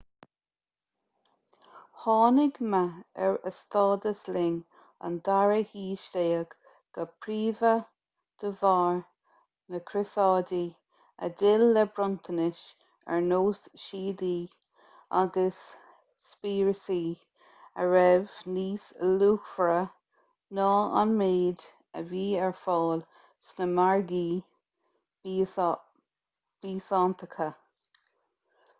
tháinig meath ar a stádas linn an dara haois déag go príomha de bharr na gcrosáidí a d'fhill le bronntanais ar nós síodaí agus spíosraí a raibh níos luachmhaire ná an méid a bhí ar fáil sna margaí biosántacha